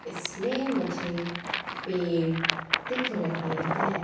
इसमें मुझे पेड़ दिख रहे हैं।